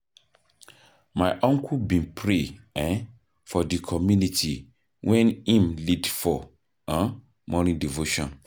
My uncle bin pray um for di community wen im lead for um morning devotion.